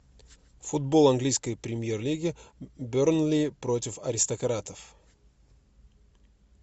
футбол английской премьер лиги бернли против аристократов